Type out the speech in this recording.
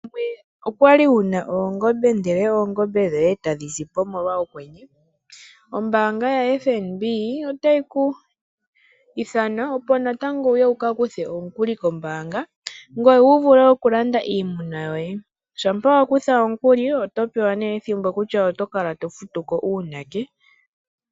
Owali wuna oongombe dhoye ndele oongombe dhoye etadhi sipo molwa okwenye? Ombaanga ya FNB otayi ku ithana opo natango wuye wu ka kuthe omukuli kombaanga. Ngoye wuvule oku landa iimuna yoye. Shampa wa kutha omukuli oto pewa nee ethimbo kutya oto kala to futuko uunake.